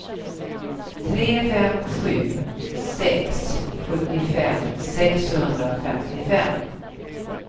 tre fem sju sex sjuttiofem sexhundrafemtiofem